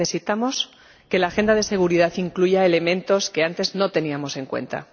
Necesitamos que la agenda de seguridad incluya elementos que antes no teníamos en cuenta.